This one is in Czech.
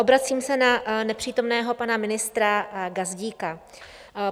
Obracím se na nepřítomného pana ministra Gazdíka.